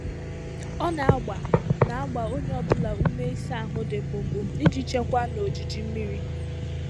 Ọ na-agba na-agba onye ọ bụla ume ịsa ahụ dị mkpụmkpụ iji chekwaa na ojiji mmiri.